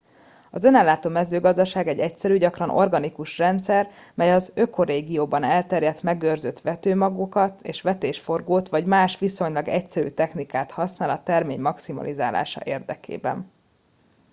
az önellátó mezőgazdaság egy egyszerű gyakran organikus rendszer mely az ökorégióban elterjedt megőrzött vetőmagokat és vetésforgót vagy más viszonylag egyszerű technikát használ a termény maximalizálása érdekében